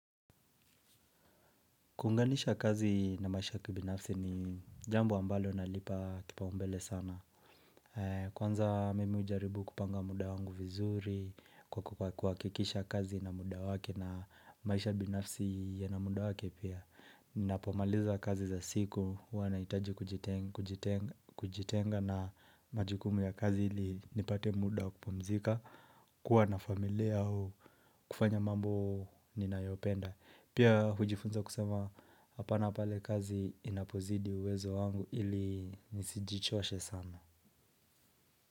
Kunganisha kazi na maisha kibinafsi ni jambo ambalo nalipa kipaumbele sana. Kwanza mimi hujaribu kupanga muda wangu vizuri, kwa kuhakikisha kazi na muda wake na maisha binafsi yana muda wake pia. Ninapomaliza kazi za siku, huwa nahitaji kujitenga na majukumu ya kazi ili nipate muda wa kupumzika, kuwa na familia au, kufanya mambo ninayopenda. Pia hujifunza kusema hapana pale kazi inapozidi uwezo wangu ili nisijichoshe sana.